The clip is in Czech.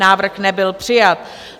Návrh nebyl přijat.